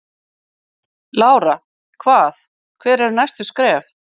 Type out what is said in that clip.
Lára: Hvað, hver eru næstu skref?